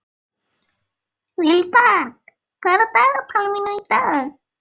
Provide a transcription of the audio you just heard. Vilberg, hvað er á dagatalinu mínu í dag?